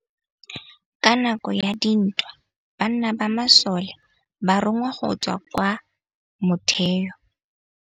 Ka nakô ya dintwa banna ba masole ba rongwa go tswa kwa mothêô.